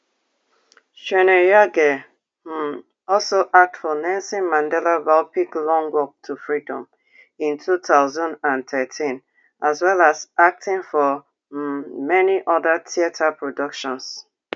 chweneyagae um also act for nelson mandela biopic long walk to freedom in two thousand and thirteen as well as acting for um many oda theatre productions